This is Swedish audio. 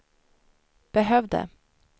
behövde